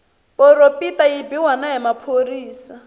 poropita yi biwa na hi maphorisa